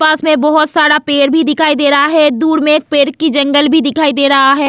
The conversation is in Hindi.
पास में बहुत सारा पेड़ भी दिखाई दे रहा है दूर में एक पेड़ की जंगल भी दिखाई दे रहा है.